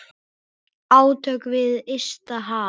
Átök við ysta haf.